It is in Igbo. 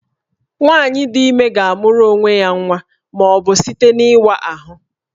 Nwaanyị dị ime ga-amụrụ onwe ya nwa ma ọ bụ site n'ịwa ahụ